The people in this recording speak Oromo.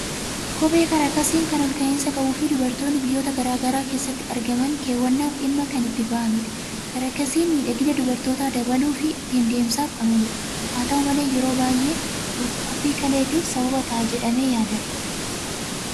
Kophee karakasiin kan ol ka'insa qabuu fi dubartoonni biyyoota garaagaraa keessatti argaman keewwannaaf dhimma kan itti bahanidha. karakasiin miidhagina dubartootaa dabaluu fi ittin deemsaaf kan ooludha. haata'u malee yeroo baayyee dhukkubii kaleettif sababa ta'a jedhamee yaadama.